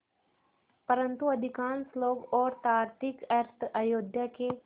परन्तु अधिकांश लोग और तार्किक अर्थ अयोध्या के